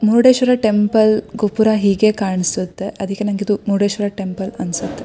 Murudeshwar temple ಗೋಪುರ ಹೀಗೆ ಕಾಣ್ಸುತ್ತೆ ಅದಕ್ಕೆ ನನಗೆ ಇದು ಮುರುಡೇಶ್ವರ ಟೆಂಪಲ್ ಅನ್ಸುತ್ತೆ.